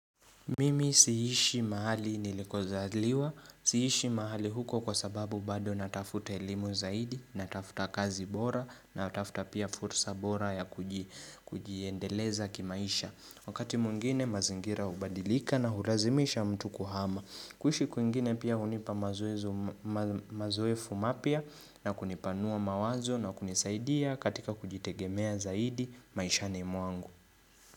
Mimi siishi mahali nilikozaliwa, siishi mahali huko kwa sababu bado natafuta elimu zaidi, natafuta kazi bora, natafuta pia fursa bora ya kujiendeleza kimaisha. Wakati mwingine mazingira ubadilika na hurazimisha mtu kuhama. Kuhishi kwingine pia unipa mazoe fumapya na kunipanua mawazo na kunisaidia katika kujitegemea zaidi maishani mwangu.